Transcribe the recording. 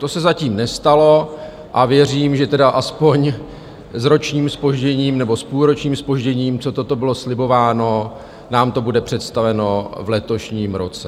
To se zatím nestalo a věřím, že tedy aspoň s ročním zpožděním nebo s půlročním zpožděním, co toto bylo slibováno, nám to bude představeno v letošním roce.